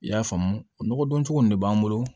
I y'a faamu o nɔgɔdon cogo nin de b'an bolo